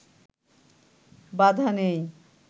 বাধা নেই